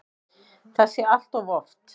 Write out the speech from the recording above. Það sé allt of oft.